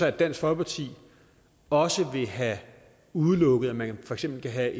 at dansk folkeparti også vil have udelukket at man for eksempel kan have